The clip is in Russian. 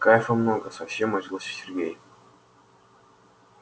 кайфа много совсем оживился сергей